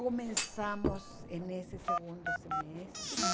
Começamos em nesse segundo semestre.